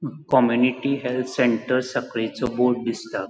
Community health centre साखळीचो board दिसता.